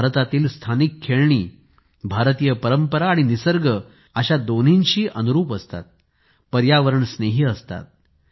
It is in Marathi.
भारतातील स्थानिक खेळणी भारतीय परंपरा आणि निसर्ग अशा दोन्हींशी अनुरूप असतात पर्यावरणस्नेही असतात